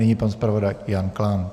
Nyní pan zpravodaj Jan Klán.